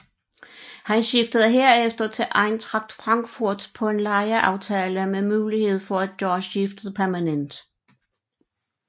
Han skiftede herefter til Eintracht Frankfurt på en lejeaftale med mulighed for at gøre skiftet permanent